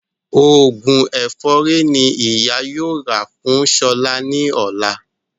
Òògùn ẹ̀fọ́rí ní ìyá yóò rà fún Ṣọlá ní ọ̀la